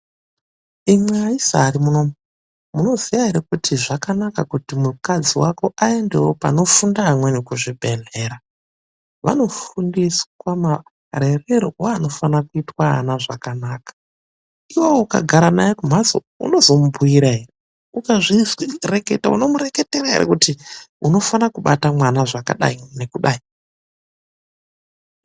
Imwi aisa ari muno umu, munoziya here kuti zvakanaka kuti mukadzi wako aendewo panofunda amweni kuzvibhedhlera. Vanofundiswa marererwo anofana kuitwa ana zvakanaka. Iwowo ukagara naye kumhatso unozomubhuyira here? Ukazvireketa unomureketera ere kuti unofana kubata mwana zvakadai nekudai.